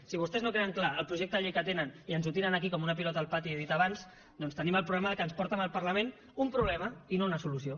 si vostès no tenen clar el projecte de llei que tenen i ens el tiren aquí com una pilota al pati he dit abans doncs tenim el problema que ens porten al parlament un problema i no una solució